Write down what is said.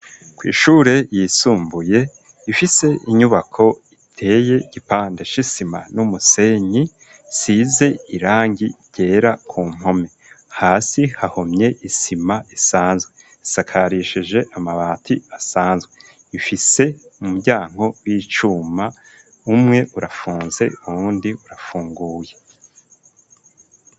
Kw'ishure yisumbuye ifise inyubako iteye gipande s'isima n'umusenyi size irangi gera ku mpome hasi hahomye isima esanzwe sakarisheje amabati asanzwe ifise mu muryanko w'icuma umwe urafunze uwundi urafunguye.